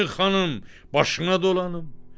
Ay xanım, başına dolanım.